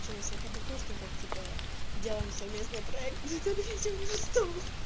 чи на своих однокурсников типа делаем совместный проект смотрите у него стол